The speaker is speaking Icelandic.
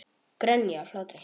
Grenja af hlátri.